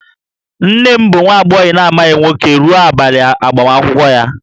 Nne m bụ nwa agbọghọ na-amaghị nwoke ruo abalị agbamakwụkwọ ya